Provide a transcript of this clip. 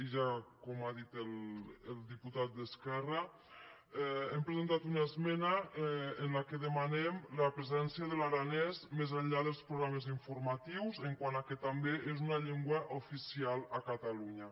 i ja com ha dit el diputat d’esquerra hem presentat una esmena en què demanem la presència de l’aranès més enllà dels programes informatius quant que també és una llengua oficial a catalunya